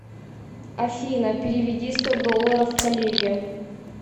афина переведи сто долларов коллеге